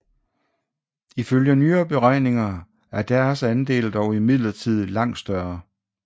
Ifølge nyere beregninger er deres andel dog imidlertid langt større